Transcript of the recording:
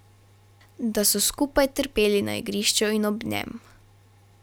Da so skupaj trpeli na igrišču in ob njem.